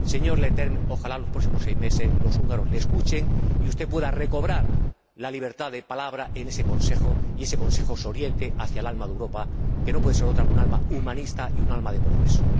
Señor Leterme, ojalá los próximos seis meses los húngaros le escuchen y usted pueda recobrar la libertad de palabra en el Consejo y ese Consejo se oriente hacia el alma de Europa, que no puede ser otra que un alma humanista y un alma de progreso.